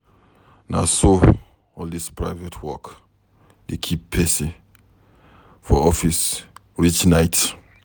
Na so all dis private work dey keep pesin for office reach night.